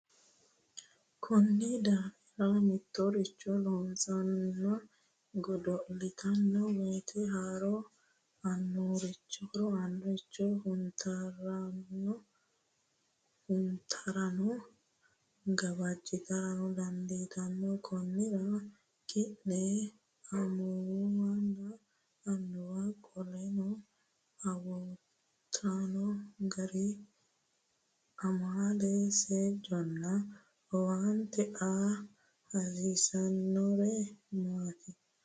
Konni daafira mitoricho loossannonna godo’litanno woyte horo aannoricho huntaranna gawajjitara dandiitanno Konnira, ki’ne amuwunna annuwu qoleno awuutaano gari amaale, seejjonna owaante aa hasiissanno’neri maati?